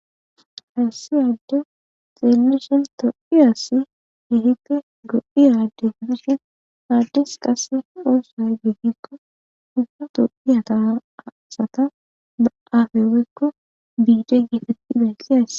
Hassiyadde xeeluson to7iyassi hehite go7iyade gidishin addes qasse ooso geggikko ubba to7iyataasata ba aafe weykko biide geetetti benkiays.